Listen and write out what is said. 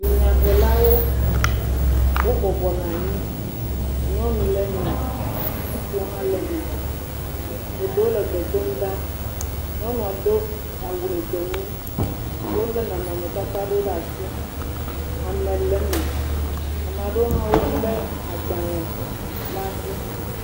Dunyahelawo wobɔbɔnɔ anyi nyɔnu le eme, ŋutsuwo hã le eme. Eɖewo le gbe dom ɖa. Nyɔnua do awu gbemu. Wo le nɔnɔmetata aɖewo ɖe asi, ame le eme. Ame aɖewo hã wo le agbale ɖe asi.